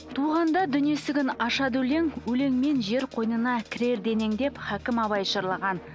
туғанда дүние есігін ашады өлең өлеңмен жер қойнына кірер денең деп хәкім абай жырлаған